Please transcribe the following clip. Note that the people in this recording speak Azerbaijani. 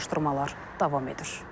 Araşdırmalar davam edir.